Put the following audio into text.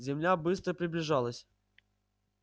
земля быстро приближалась